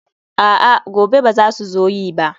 a'a, gobe ba za su zo yi ba